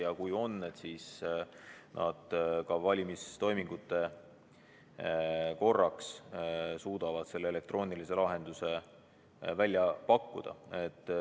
Ja kui on, siis nad valimistoiminguteks suudavad selle elektroonilise lahenduse välja pakkuda.